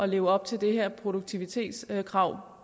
leve op til det her produktivitetskrav